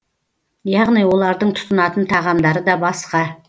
яғни олардың тұтынатын тағамдары да басқа